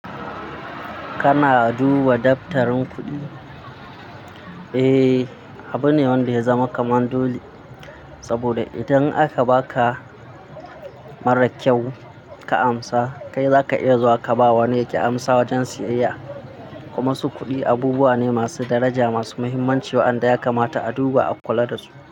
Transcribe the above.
Kana duba daftarin kuɗi? Eh, abu ne wanda ya zama kamar dole. Saboda idan aka baka, mara kyau ka amsa, kai zaka iya zuwa ka ba wanda yake amsa wajen siyayya. Kuma su kuɗi, abubuwa ne masu daraja, masu muhimmanci waɗanda ya kamata a duba a kula dasu.